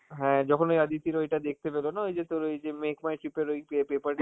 হ্যাঁ যখন ওই অদিতির ওইটা দেখতে পেল না, ওই যে তোর ওই যে make my trip এর ওই পে~ paper